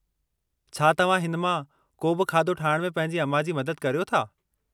छा तव्हां हिन मां को बि खाधो ठाहिण में पंहिंजी अमां जी मदद करियो था?